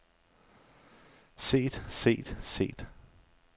set set set